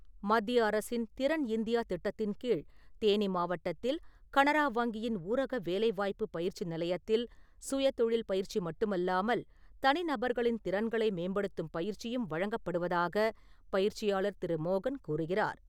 மத்திய அரசின் "திறன் இந்தியா" திட்டத்தின் கீழ் தேனி மாவட்டத்தில் கனரா வங்கியின் ஊரக வேலைவாய்ப்பு பயிற்சி நிலையத்தில் சுயதொழில் பயிற்சி மட்டுமல்லாமல் தனி நபர்களின் திறன்களை மேம்படுத்தும் பயிற்சியும் வழங்கப்படுவதாக பயிற்சியாளர் திரு. மோகன் கூறுகிறார்.